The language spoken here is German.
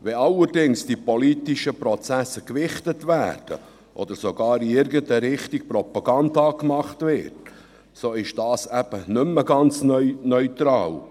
Wenn allerdings die politischen Prozesse gewichtet werden oder sogar in irgendeine Richtung Propaganda gemacht wird, so ist dies eben nicht mehr ganz neutral.